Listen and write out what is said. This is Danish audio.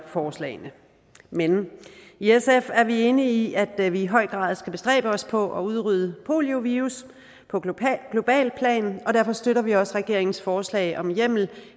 forslagene men i sf er vi enige i at vi i høj grad skal bestræbe os på at udrydde poliovirus på globalt plan og derfor støtter vi også regeringens forslag om hjemmel